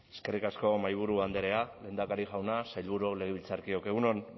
eskerrik asko mahaiburu andrea lehendakari jauna sailburu legebiltzarkideok egun on